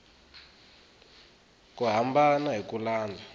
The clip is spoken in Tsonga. ku hambana hi ku landza